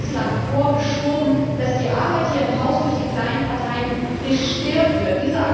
Sie hatten bislang vorgeschoben, dass die Arbeit hier im Haus durch die kleinen Parteien gestört wird.